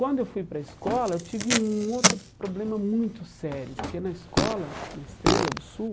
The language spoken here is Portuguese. Quando eu fui para a escola, eu tive um outro problema muito sério, porque na escola, na Estrela do Sul,